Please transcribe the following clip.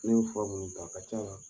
Ne fura munnu ta a ka ca